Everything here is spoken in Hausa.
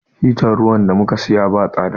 Hitar dafa ruwan da mu ka siya ba tsada.